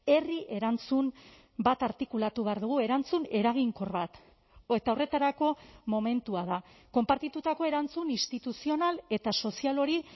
herri erantzun bat artikulatu behar dugu erantzun eraginkor bat eta horretarako momentua da konpartitutako erantzun instituzional eta sozial hori